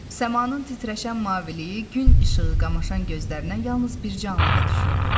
Səmanın titrəşən maviliyi gün işığı qamaşan gözlərinə yalnız bircə anlığa düşürdü.